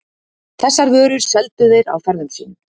Þessar vörur seldu þeir á ferðum sínum.